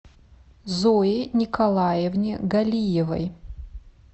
зое николаевне галиевой